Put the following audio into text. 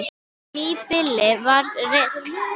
Nýbýli var reist.